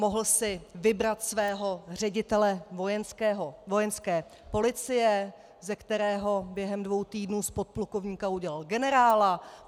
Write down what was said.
Mohl si vybrat svého ředitele Vojenské policie, ze kterého během dvou týdnů z podplukovníka udělal generála.